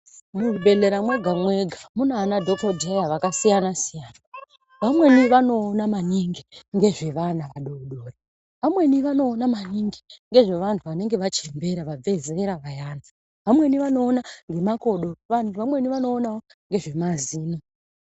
Muzvibhedhlera mwega-mwega muna anadhokodheya akasiyana-siyana vamweni vanoona maningi ngezve vana vadodori, vamweni vanoona maningi ngezve vantu vanenge vachembera vabvezera vayana, vamweni vanoona ngemakodo, vantu vamweni vanoonawo ngezvemazino.